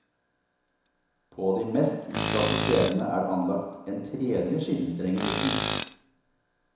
På de mest utsatte stedene er det anlagt en tredje skinnestreng i midten.